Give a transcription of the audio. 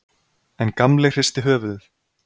En Gamli hristi höfuðið.